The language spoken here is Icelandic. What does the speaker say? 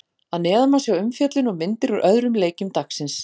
Að neðan má sjá umfjöllun og myndir úr öðrum leikjum dagsins.